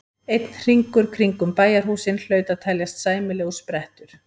Einn hringur kringum bæjarhúsin hlaut að teljast sæmilegur sprettur.